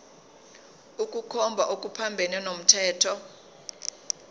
ukukhomba okuphambene nomthetho